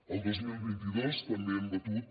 el dos mil vint dos també hem batut